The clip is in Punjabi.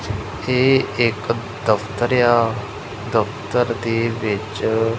ਏਹ ਇੱਕ ਦਫ਼ਤਰ ਆ ਦਫ਼ਤਰ ਦੇ ਵਿੱਚ--